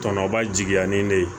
Tɔnɔba jigiya ni ne ye